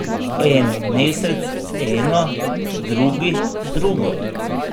En mesec eno, drugi drugo.